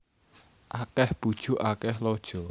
Akeh bujuk akeh lojo